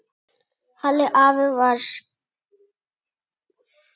Halli afi var skáld.